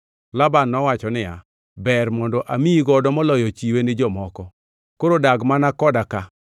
Laban nowacho niya, “Ber mondo amiyi godo moloyo chiwe ni jomoko. Koro dag mana koda ka.”